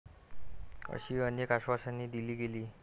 अशी अनेक आश्वासने दिली गेली.